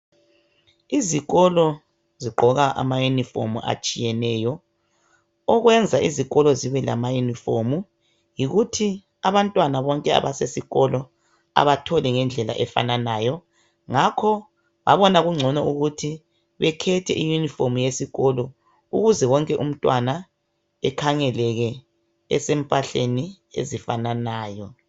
Izikolo zigqoka amayunifomu atshiyeneyo. Okwenza izikolo zibe lamayunifomu yikuthi abantwana bonke abasesikolo abatholi ngendlela efananayo. Ngakho babona kungcono ukuthi bekhethe iyunifomu yesikolo ukuze wonke umntwana ekhangeleke esempahleni ezifananayo.